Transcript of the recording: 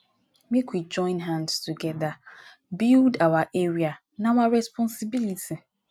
make we join hands togeda build our area na our responsibility